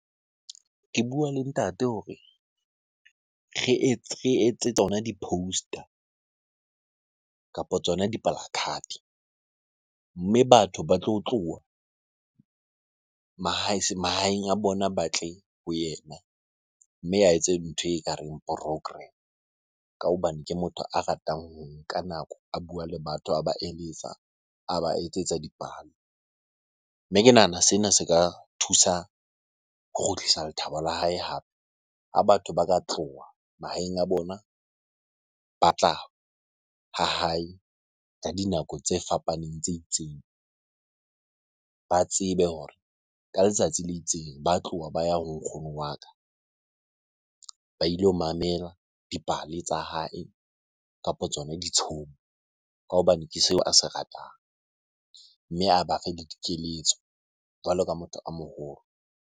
Ke bua le ntate hore re etse tsona di-poster kapo tsona . Mme batho ba tlo tloha mahaeng a bona ba tle ho yena. Mme a etse ntho ekareng program. Ka hobane ke motho a ratang ho nka nako a bua le batho, a ba eletsa, a ba etsetsa dipale. Mme ke nahana sena se ka thusa ho kgutlisa lethabo la hae hape. Ha batho ba ka tloha mahaeng a bona, ba tla ha hae ka dinako tse fapaneng tse itseng. Ba tsebe hore ka letsatsi le itseng ba tloha ba ya ho nkgono wa ka, ba ilo mamela dipale tsa hae kapo tsona ditshomo. Ka hobane ke seo a se ratang mme a ba le dikeletso jwalo ka motho a moholo.